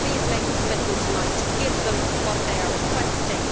Will you please make a commitment tonight to give them what they are requesting?